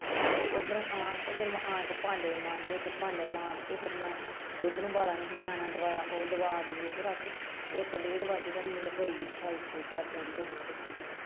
ਤੇ ਉੱਧਰੋਂ ਆ ਤੇ ਫਿਰ ਮੈਂ ਆ ਕੇ ਭਾਂਡੇ ਮਾਂਜੇ ਤੇ ਭਾਂਡੇ ਮਾਂਜ ਕੇ ਫਿਰ ਮੈਂ ਦੁੱਧ ਨੂੰ ਉਬਾਲਾ ਨਹੀਂ ਸੀ ਨਿਆਣਿਆਂ ਨੇ ਦੁਆਇਆ ਉਹ ਦਵਾ ਦਵੂ ਕੇ ਰੱਖ ਇੱਕ ਡੇਢ ਵੱਜ ਗਿਆ ਮੈਨੂੰ ਤੇ ਫਿਰ ਗੁੱਸਾ ਉੱਤੇ ਚੜ੍ਹ ਚੜ੍ਹ ਕੇ .